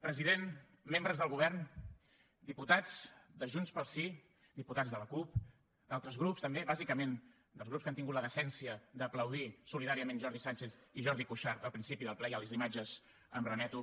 president membres del govern diputats de junts pel sí diputats de la cup d’altres grups també bàsicament dels grups que han tingut la decència d’aplaudir solidàriament jordi sànchez i jordi cuixart al principi del ple i a les imatges em remeto